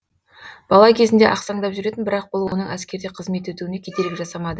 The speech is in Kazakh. бала кезінде ақсаңдап жүретін бірақ бұл оның әскерде қызмет етуіне кедергі жасамады